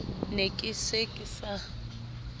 ne ke se ke sa